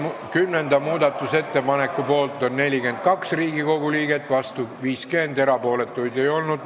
Kümnenda muudatusettepaneku poolt on 42 ja vastu 50 Riigikogu liiget, erapooletuid ei olnud.